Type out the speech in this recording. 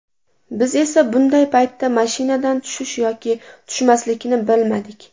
Biz esa bunday paytda mashinadan tushish yoki tushmaslikni bilmadik.